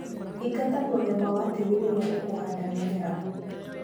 Thingata mũthemba wa tĩri rĩria ũkuhanda mĩmera.